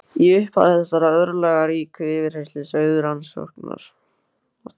Í upphafi þessarar örlagaríku yfirheyrslu sögðu rannsóknar